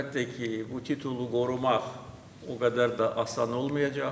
Əlbəttə ki, bu titulu qorumaq o qədər də asan olmayacaq.